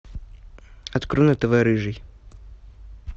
открой на тв рыжий